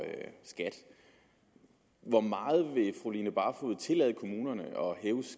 skat hvor meget vil fru line barfod tillade kommunerne